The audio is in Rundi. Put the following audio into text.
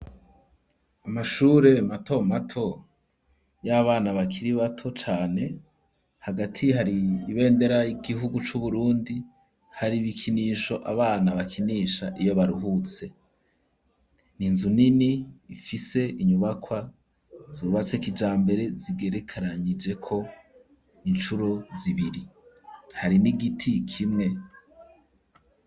Amashure mato mato y'abana bakiri bato cane hagati hari ibendera igihugu cu Burundi hari ibikinisho abana bakinisha iyo baruhutse n'inzu nini ifise inyubakwa zubatse kijambere zigerekaranyijeko incuro zibiri hari n'igiti kimwe.